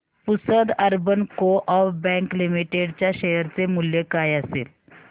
Pusad urban co-op bank limited च्या share चे मूल्य काय असेल